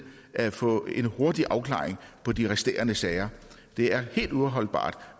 at få en hurtig afklaring på de resterende sager det er helt uholdbart